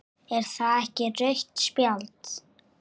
Er það ekki rautt spjald?